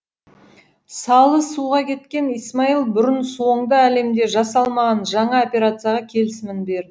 салы суға кеткен исмаил бұрын соңды әлемде жасалмаған жаңа операцияға келісімін берді